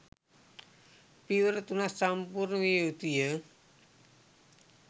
පියවර තුනක් සම්පූර්ණ විය යුතු ය.